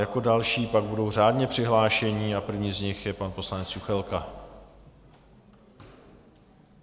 Jako další pak budou řádně přihlášení a první z nich je pan poslanec Juchelka.